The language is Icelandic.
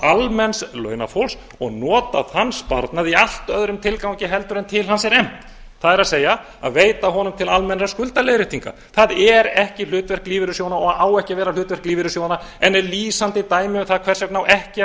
almenns launafólks og nota þann sparnað í all öðrum tilgangi heldur en til hans er efnt það er að veita honum til almennrar skuldaleiðréttingar það er ekki hlutverk lífeyrissjóðanna og á ekki að vera hlutverk lífeyrissjóðanna en er lýsandi dæmi um það hvers vegna á ekki að